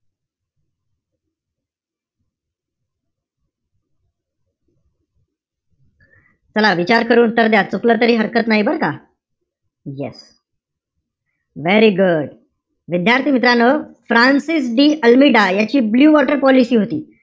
चला विचार करून उत्तर द्या. चुकलं तरी हरकत नाही बरं का. Yes very good. विद्यार्थी-मित्रांनो, फ्रान्सिस डी आल्मिडा याची ब्लू वॉटर पॉलिसी होती.